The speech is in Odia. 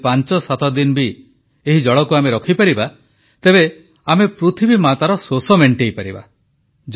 ଯଦି ପାଂଚସାତ ଦିନ ବି ଏହି ଜଳକୁ ଆମେ ରଖିପାରିବା ତେବେ ଆମେ ପୃଥିବୀମାତାର ଶୋଷ ମେଂଟେଇପାରିବା